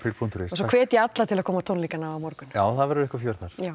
punktur is svo hvet ég alla til að koma á tónleikana á morgun það verður eitthvað fjör þar já